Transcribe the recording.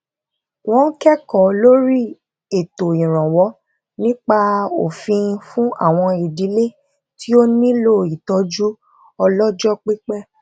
wón kékòó lórí ètò ìrànwó nípa òfin fún àwọn ìdílé tí ó nílò ìtójú ọlójó pípé